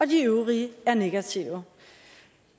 de øvrige er negative